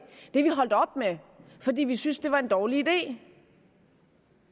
er vi holdt op med fordi vi synes det er en dårlig idé